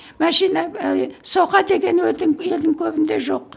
машина і соқа деген елдің көбінде жоқ